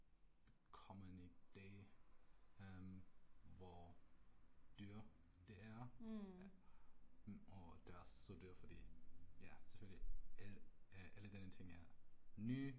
Kommen i dag øh hvor dyr det er og det er også så dyr fordi ja selvfølgelig alle denne ting er nye